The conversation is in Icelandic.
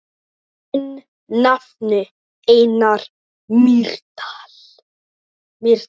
Þinn nafni, Einar Mýrdal.